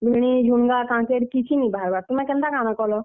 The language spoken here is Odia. ଭେଣ୍ଡି, ଝୁନଗା, କାକେଁର କିଛି ନି ବାହାର୍ ବାର। ତୁମେ କେନ୍ତା କାଣା କଲ?